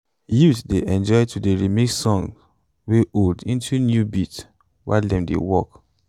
youths dey enjoy to dey remix songs wey old into new beats while dem dey work